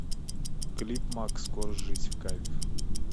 клип макс корж жить в кайф